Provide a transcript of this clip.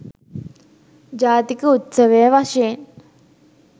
ජාතික උත්සවය වශයෙන්